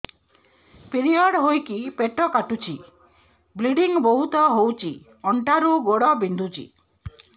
period ହୋଇକି ପେଟ କାଟୁଛି ବ୍ଲିଡ଼ିଙ୍ଗ ବହୁତ ହଉଚି ଅଣ୍ଟା ରୁ ଗୋଡ ବିନ୍ଧୁଛି